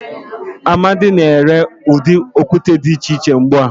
Amadi na-ere udi okute di iche iche ugbua.